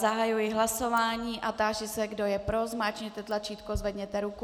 Zahajuji hlasování a táži se, kdo je pro, zmáčkněte tlačítko, zvedněte ruku.